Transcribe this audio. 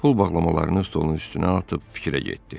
Pul bağlamalarını stolun üstünə atıb fikrə getdi.